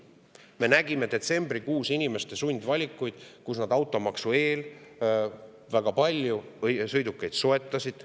Me nägime detsembrikuus inimeste sundvalikuid, kui nad automaksu eel väga palju sõidukeid soetasid.